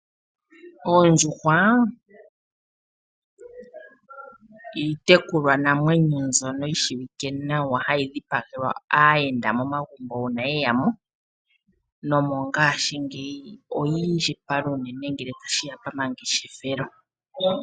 Oondjuhwa iitekulwanamwenyo mbyono yi shiwike nawa hayi dhipagelwa aayenda momagumbo uuna yeya mo. Nomongaashingeyi oyi indjipala unene ngele tashi ya pamangeshefelo.